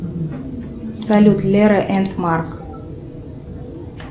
салют лера энд марк